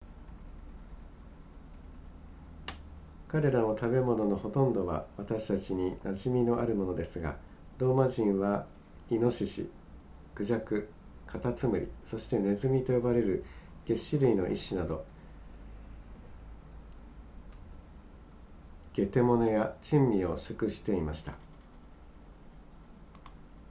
彼らの食べ物のほとんどは私たちに馴染みのあるものですがローマ人はイノシシ孔雀カタツムリそしてネズミと呼ばれる齧歯類の一種など下手物や珍味を食していました